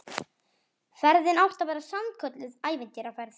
Ferðin átti að verða sannkölluð ævintýraferð